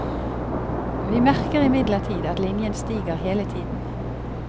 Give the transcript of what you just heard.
Vi merker imidlertid at linjen stiger hele tiden.